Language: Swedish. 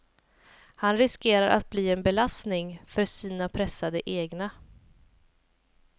Han riskerar att bli en belastning för sina pressade egna.